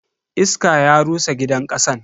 Iska ya rusa gidan kasan.